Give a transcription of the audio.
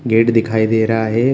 Gate दिखाई दे रहा है।